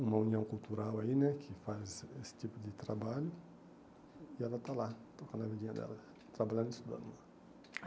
uma união cultural aí né, que faz esse esse tipo de trabalho, e ela está lá, tocando a vidinha dela, trabalhando e estudando lá.